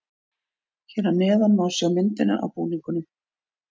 Hér að neðan má sjá myndina af búningunum.